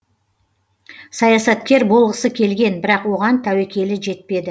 саясаткер болғысы келген бірақ оған тәуекелі жетпеді